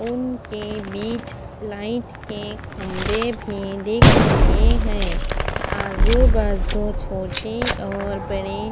उनके बिच लाइट के खम्भे भी दिख रहे है आजू बाजू छोटे और बड़े--